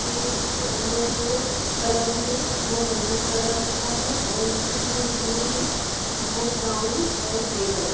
के इसके अंदर जो कलर है। वो मेहरून कलर का है और इसकी जो जीने हैं वो ब्राउन और ग्रे कलर --